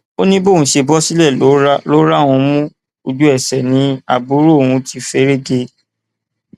ó ní bóun ṣe bọ sílẹ ló rá òun mú ojú ẹsẹ ni àbúrò òun ti fẹrẹ gé e